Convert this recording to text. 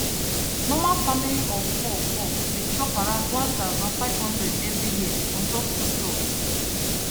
normal family of 4 4 dey chop around 1500 every year on top foodstuffs